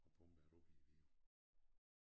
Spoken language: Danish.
Og pumper det op i Vidå